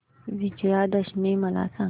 विजयादशमी मला सांग